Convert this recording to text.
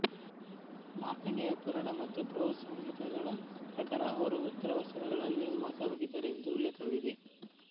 ಮಾರ್ಕಾಂಡೇಯ ಪುರಾಣ ಮತ್ತು ಬೃಹತ್ ಸಂಹಿತಾ ಗಳ ಪ್ರಕಾರ ಅವರು ಉತ್ತರಪಶ್ಚಿಮಗಳಲ್ಲಿ ವಾಸವಾಗಿದ್ದರೆಂದು ಉಲ್ಲೇಖವಿದೆ